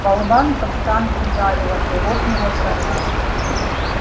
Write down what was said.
болванка в танк ударила и лопнула броня